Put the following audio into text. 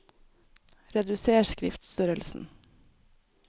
Reduser skriftstørrelsen